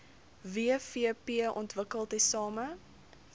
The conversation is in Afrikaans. wvp ontwikkel tesame